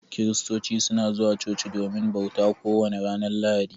Kiristoci suna zuwa chochi domin bauta, ko wani ranar lahadi.